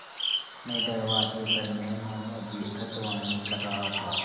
मैं दरवाज़े पर मेहमानों की अगवानी कर रहा था